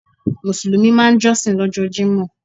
Mùsùlùmí máa n jósìn lójó Jímò